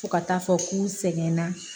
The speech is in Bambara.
Fo ka taa fɔ k'u sɛgɛnna